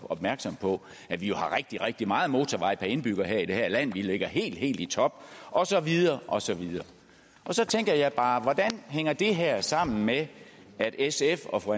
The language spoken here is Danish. opmærksom på at vi jo har rigtig rigtig meget motorvej per indbygger i det her land vi ligger helt helt i top og så videre og så videre så tænker jeg bare hvordan hænger det her sammen med at sf og fru